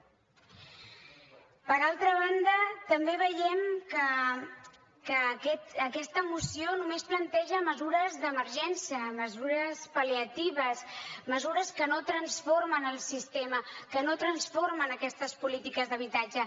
per altra banda també veiem que aquesta moció només planteja mesures d’emergència mesures pal·liatives mesures que no transformen el sistema que no transformen aquestes polítiques d’habitatge